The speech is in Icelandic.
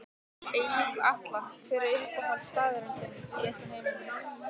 Egill Atla Hver er uppáhaldsstaðurinn þinn í öllum heiminum?